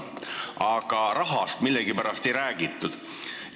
Aga rahast millegipärast ei räägitud.